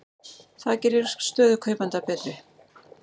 Það gerir stöðu kaupenda betri.